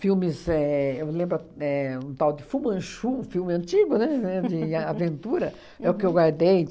Filmes, éh eu me lembro a, éh um tal de Fu Manchu, um filme antigo, né, é de aventura, é o que eu guardei.